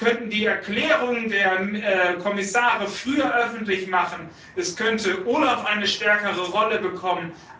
Wir könnten die Erklärungen der Kommissare früher öffentlich machen, es könnte OLAF eine stärkere Rolle bekommen.